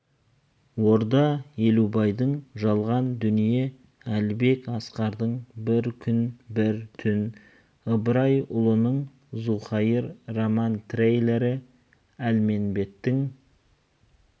орда елубайдың жалған дүние әлібек асқардың бір күн бір түн ыбрайұлының зауқайыр роман-триллері әлменбеттің